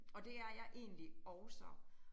Og det er jeg egentlig også